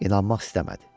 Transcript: İnanmaq istəmədi.